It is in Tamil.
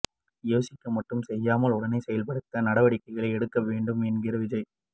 யோசிக்க மட்டும் செய்யாமல் உடனே செயல்படுத்த நடவடிக்கைகளை எடுக்க வேண்டும் என்கிறார் விஜய்